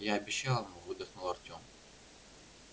я обещал ему выдохнул артем